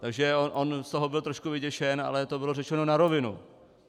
Takže on z toho byl trošku vyděšen, ale to bylo řečeno na rovinu.